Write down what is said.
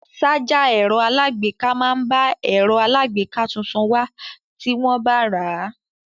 Sájà ẹ̀rọ aláàgbéká máa ń bá ẹ̀rọ aláàgbéká tuntun wá tí wọ́n bá rà á.